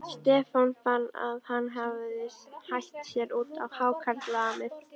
Stefán fann að hann hafði hætt sér út á hákarlamið.